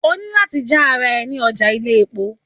O ní láti já ara ẹ ní ọjà ilé-epo